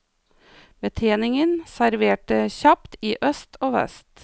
Betjeningen serverte kjapt i øst og vest.